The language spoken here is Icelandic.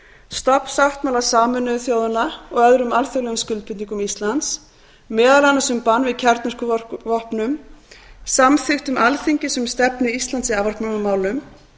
stofnsáttmála sameinuðu þjóðanna og öðrum alþjóðlegum skuldbindingum íslands meðal annars um bann við kjarnorkuvopnum samþykktum alþingis um stefnu íslands í afvopnunarmálum